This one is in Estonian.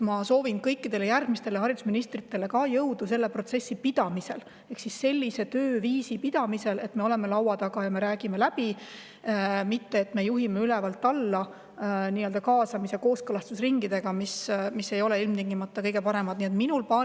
Ma soovin ka kõikidele järgmistele haridusministritele jõudu selles protsessis ehk sellise tööviisi, kus me oleme laua taga ja me räägime läbi, mitte ei juhi ülevalt alla, nii-öelda kaasamis‑ ja kooskõlastusringide kaudu, mis ei ole ilmtingimata kõige parem.